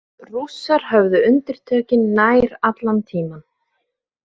Rússar höfðu undirtökin nær allan tímann